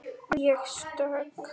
Að ég sé stök.